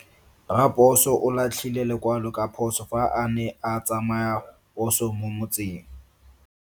Raposo o latlhie lekwalo ka phoso fa a ne a tsamaisa poso mo motseng.